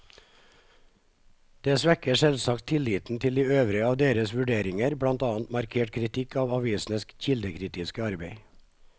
Det svekker selvsagt tilliten til de øvrige av deres vurderinger, blant annet markert kritikk av avisenes kildekritiske arbeid.